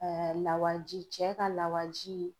lawaji cɛ ka lawaji.